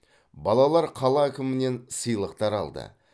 балалар қала әкімінен сыйлықтар алды